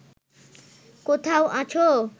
কোথাও আছো